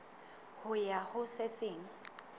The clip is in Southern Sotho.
ho ya ho se seng